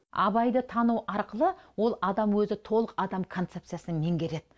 абайды тану арқылы ол адам өзі толық адам концепциясын меңгереді